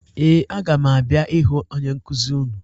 Ee, aga m abịa ịhụ onye nkụzi unu